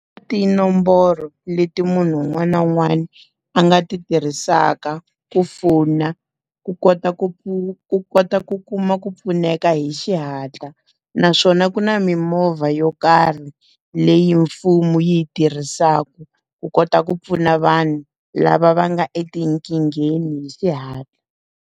Tinomboro leti munhu un'wana na un'wana a nga ti tirhisaka ku fona, ku kota ku ku kota ku kuma ku pfuneka hi xihatla. Naswona ku na mimovha yo karhi leyi mfumo yi yi tirhisaka, ku kota ku pfuna vanhu, lava va nga etinkingheni hi xihatla.